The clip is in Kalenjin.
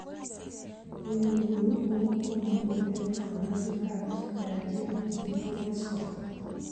En nguni komo miten konyoiset ap pterygium syndrome, Escobar